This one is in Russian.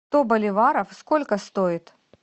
сто боливаров сколько стоит